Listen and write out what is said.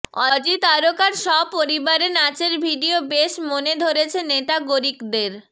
Aussie তারকার সপরিবারে নাচের ভিডিও বেশ মনে ধরেছে নেটাগরিকদের